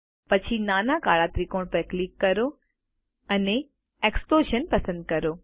પછી નાના કાળા ત્રિકોણ પર ક્લિક કરો અને એક્સપ્લોઝન પસંદ કરો